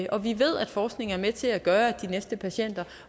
og vi ved at forskning er med til at gøre at de næste patienter